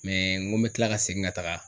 ŋo n bɛ tila ka segin ka taga